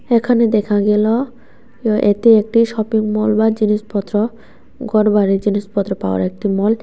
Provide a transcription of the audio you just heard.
এখানে দেখা গেলো এতে একটি শপিংমল বা জিনিসপত্র ঘরবাড়ির জিনিসপত্র পাওয়ার একটি মল ।